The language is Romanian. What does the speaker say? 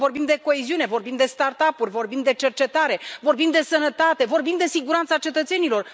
Pentru că vorbim de coeziune, vorbim de start upuri, vorbim de cercetare, vorbim de sănătate, vorbim de siguranța cetățenilor.